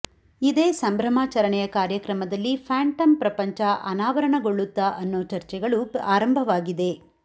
ಇದೇ ಸಂಭ್ರಮಾಚರಣೆಯ ಕಾರ್ಯಕ್ರಮದಲ್ಲಿ ಫ್ಯಾಂಟಂ ಪ್ರಪಂಚ ಅನಾವರಣಗೊಳ್ಳುತ್ತಾ ಅನ್ನೋ ಚರ್ಚೆಗಳು ಆರಂಭವಾಗಿದೆ